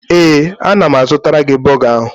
Ee, ana m azụtara gi bọga ahụ.